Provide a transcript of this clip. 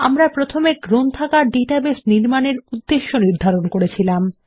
আমরা প্রথমে গ্রন্থাগার ডাটাবেস নির্মাণের উদ্দেশ্য নির্ধারন করেছিলাম